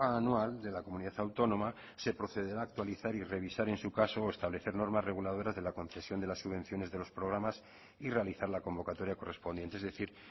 anual de la comunidad autónoma se procederá a actualizar y revisar en su caso o establecer normas reguladoras de la concesión de las subvenciones de los programas y realizar la convocatoria correspondiente es decir